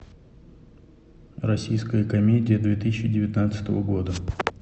российская комедия две тысячи девятнадцатого года